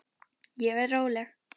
Ég verð róleg.